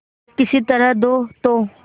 किसी तरह दो तो